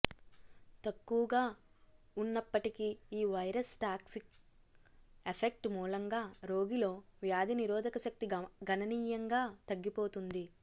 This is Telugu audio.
తక్కువుగా వున్నప్ప టికీ ఈవైరస్ టాక్సిక్ ఎఫెక్ట్ మూలంగా రోగిలో వ్యాధి నిరోధకశక్తి గణనీయంగా తగ్గిపోతుంది